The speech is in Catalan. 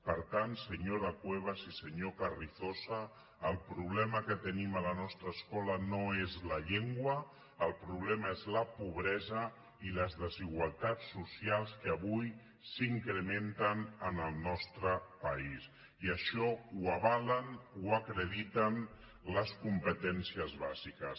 per tant senyora cuevas i senyor carrizosa el problema que tenim a la nostra escola no és la llengua el problema és la pobre·sa i les desigualtats socials que avui s’incrementen en el nostre país i això ho avalen ho acrediten les com·petències bàsiques